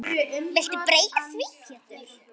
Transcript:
Viltu breyta því Pétur.